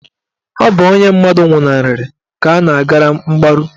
Ọ bụ onye mmadụ nwụnarị ka a na-agara mgbaru.